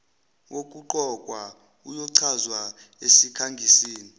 wokuqokwa uyochazwa esikhangisini